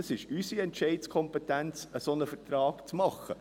Es ist unsere Entscheidungskompetenz, gewisse Auflagen zu machen.